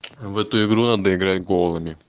в эту игру надо играть голыми